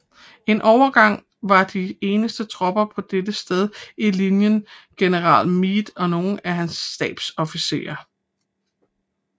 En overgang var de eneste tropper på dette sted i linjen general Meade og nogle af hans stabsofficerer